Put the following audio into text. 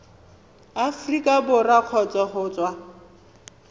aforika borwa kgotsa go tswa